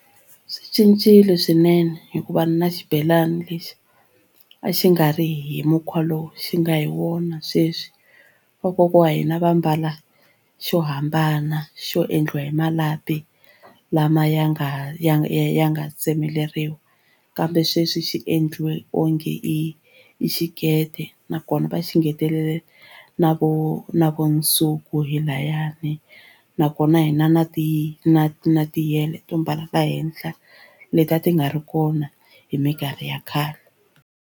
Swi cincile swinene hikuva na xibelani lexi a xi nga ri hi mukhuva lowu xi nga hi wona sweswi vakokwa wa hina va mbala xo hambana xo endliwa hi malapi lama ya nga ya ya nga tsemeleriwa kambe sweswi xi endliwe onge i i xikete nakona va xi ngetelele na vo na vo nsuku hi layani nakona hina na ti na na tiyele to mbala lahenhla leti a ti nga ri kona hi mikarhi ya khale.